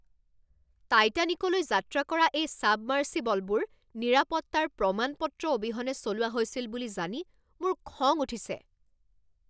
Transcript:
টাইটানিকলৈ যাত্ৰা কৰা এই ছাবমাৰ্চিবলবোৰ নিৰাপত্তাৰ প্ৰমাণ পত্ৰ অবিহনে চলোৱা হৈছিল বুলি জানি মোৰ খং উঠিছে।